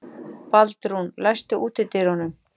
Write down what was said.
Baldrún, læstu útidyrunum.